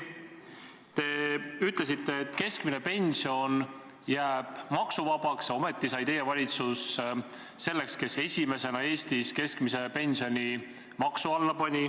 Te ütlesite, et keskmine pension jääb maksuvabaks, ometi sai teie valitsus selleks, kes esimesena Eestis keskmise pensioni maksu alla pani.